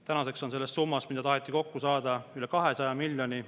Tänaseks on see summa, mida tahetakse kokku saada, üle 200 miljoni.